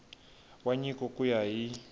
wa nyiko ku ya hi